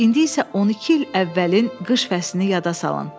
İndi isə 12 il əvvəlin qış fəslini yada salın.